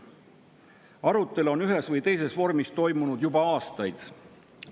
Arutelu on ühes või teises vormis toimunud juba aastaid.